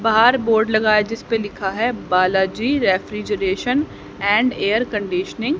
बाहर बोर्ड लगा है जिसपे लिखा है Balaji refrigeration and air conditioning.